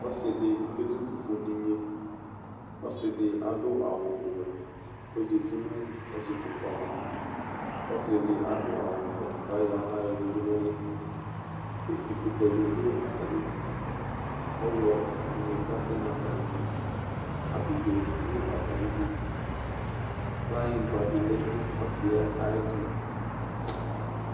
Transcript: Ɔsɩ dɩ kezu fufu nʋ inye, ɔsɩ dɩ adʋ awʋ wɛ kʋ ɔzati nʋ ɔsɩkpoku ava, ɔsɩ dɩ adʋ awʋ blɔ kʋ ayɔ aɣla yǝdu nʋ ʋlɩ Etikʋtɛ bɩ dʋ atamɩ idu, ɔɣlɔnɩ kasɛ nʋ atamɩ idu, abidzonɩ dʋ atamɩ idu, kplanyɩgba dɩ lɛ nʋ ɔsɩ yɛ ayʋ ɛtʋ